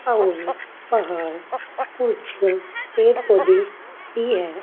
अउर पहाड़ कुछ पेड़ पौधे भी है।